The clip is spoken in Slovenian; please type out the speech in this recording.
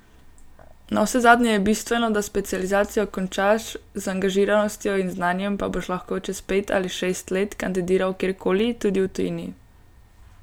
Navsezadnje je bistveno, da specializacijo končaš, z angažiranostjo in znanjem pa boš lahko čez pet ali šest let kandidiral kjerkoli, tudi v tujini.